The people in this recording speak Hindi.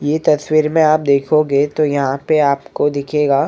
ये तस्वीर में आप देखोगे तो यहाँ पे आपको दिखेगा--